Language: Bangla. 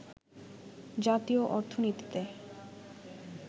জাতীয় অর্থনীতিতে